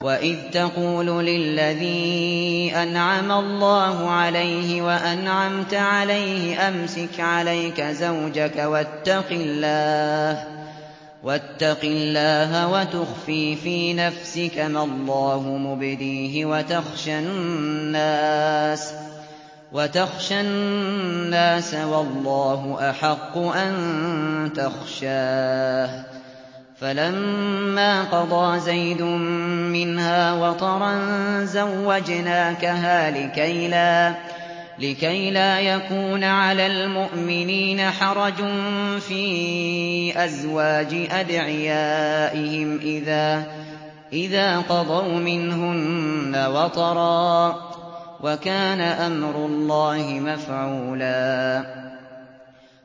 وَإِذْ تَقُولُ لِلَّذِي أَنْعَمَ اللَّهُ عَلَيْهِ وَأَنْعَمْتَ عَلَيْهِ أَمْسِكْ عَلَيْكَ زَوْجَكَ وَاتَّقِ اللَّهَ وَتُخْفِي فِي نَفْسِكَ مَا اللَّهُ مُبْدِيهِ وَتَخْشَى النَّاسَ وَاللَّهُ أَحَقُّ أَن تَخْشَاهُ ۖ فَلَمَّا قَضَىٰ زَيْدٌ مِّنْهَا وَطَرًا زَوَّجْنَاكَهَا لِكَيْ لَا يَكُونَ عَلَى الْمُؤْمِنِينَ حَرَجٌ فِي أَزْوَاجِ أَدْعِيَائِهِمْ إِذَا قَضَوْا مِنْهُنَّ وَطَرًا ۚ وَكَانَ أَمْرُ اللَّهِ مَفْعُولًا